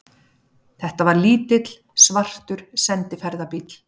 Þetta var lítill, svartur sendiferðabíll.